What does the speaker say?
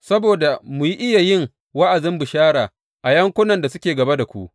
Saboda mu iya yin wa’azin bishara a yankunan da suke gaba da ku.